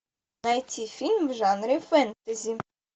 найти фильм в жанре фэнтези